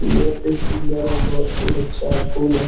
बहुत ही सुंदर और बहुत ही अच्छा फूल है ।